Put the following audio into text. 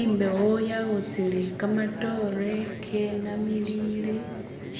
Imbewo yawutsile kamatore kenamilile